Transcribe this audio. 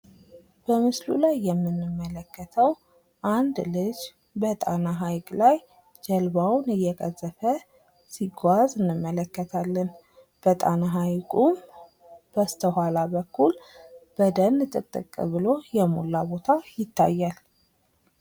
በምስሉ ላይ የምንመለከተው አንድ ልጅ በጣና ሀይቅ ላይ ጀልባውን እየቀዘፈ ሲጓዝ እንመለከታለን። በጣና ሐይቁ በስተኋላ በኩል በደን ጥቅጥቅ ብሎ የሞላ ቦታ ይታያል።